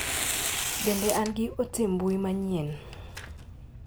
Bende an gi ote mbui manyien ?